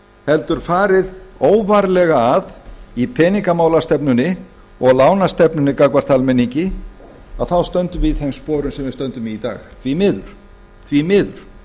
heldur farið óvarlega að í peningamálastefnunni og lánastefnunni gagnvart almenningi að þá stöndum við í þeim sporum sem við stöndum í í dag því miður því miður